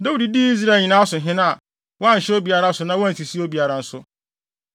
Dawid dii Israel nyinaa so hene, a wanhyɛ obiara so na wansisi obiara nso.